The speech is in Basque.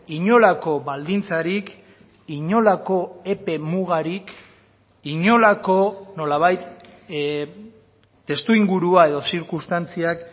inolako baldintzarik inolako epe mugarik inolako nolabait testuingurua edo zirkunstantziak